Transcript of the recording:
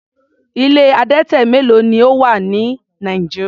Ilé adẹtẹ mélo ni ó wà ní Nigeria?